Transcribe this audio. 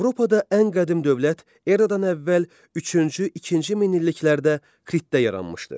Avropada ən qədim dövlət eradan əvvəl üçüncü-ikinci minilliklərdə Kritdə yaranmışdır.